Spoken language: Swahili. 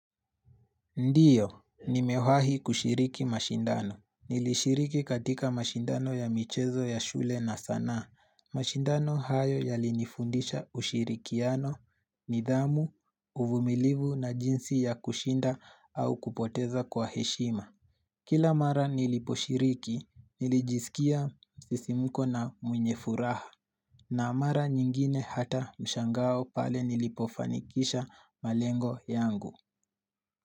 Ndiyo, nimewahi kushiriki mashindano. Nilishiriki katika mashindano ya michezo ya shule na sanaa. Mashindano hayo yalinifundisha ushirikiano, nidhamu, uvumilivu na jinsi ya kushinda au kupoteza kwa heshima. Kila mara niliposhiriki, nilijisikia msisimuko na mwenye furaha. Na mara nyingine hata mshangao pale nilipofanikisha malengo yangu.